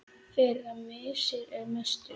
Þeirra missir er mestur.